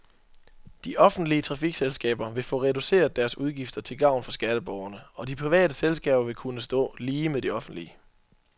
De offentlige trafikselskaber vil få reduceret deres udgifter til gavn for skatteborgerne, og de private selskaber vil kunne stå lige med de offentlige.